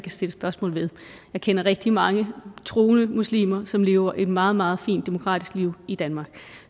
stille spørgsmål til jeg kender rigtig mange troende muslimer som lever et meget meget fint demokratisk liv i danmark